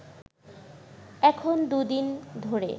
এখন দুদিন ধরে